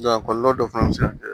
a kɔlɔlɔ dɔ fana bɛ se ka